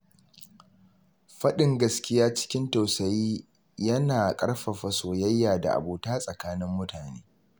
Faɗin gaskiya cikin tausayi yana ƙarfafa soyayya da abota tsakanin mutane.